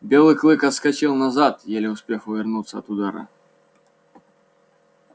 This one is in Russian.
белый клык отскочил назад еле успев увернуться от удара